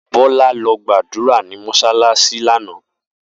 Bola lo gbadura ni mosalasi lana.